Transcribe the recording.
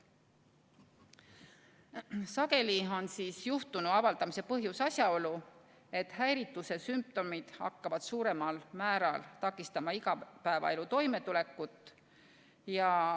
Sageli on juhtunu avaldamise põhjus asjaolu, et häirituse sümptomid hakkavad suuremal määral takistama igapäevaeluga toimetulekut.